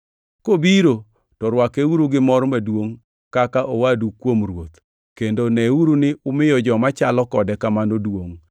Kobiro, to rwakeuru gi mor maduongʼ kaka owadu kuom Ruoth, kendo neuru ni umiyo joma chalo kode kamano duongʼ,